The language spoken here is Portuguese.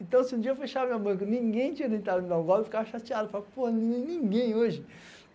Então, se um dia eu fechasse a minha banca, ninguém tinha tentado me dar um golpe, eu ficava chateado, eu falava, pô, ninguém hoje.